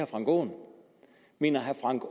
frank aaen mener herre frank